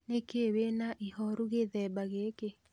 Nĩkĩĩ wĩna ihoru gũthemba gĩkĩ?